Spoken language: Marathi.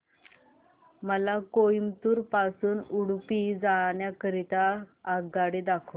मला कोइंबतूर पासून उडुपी जाण्या करीता आगगाड्या दाखवा